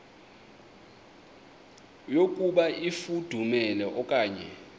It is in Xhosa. yokuba ifudumele okanye